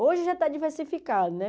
Hoje já está diversificado, né?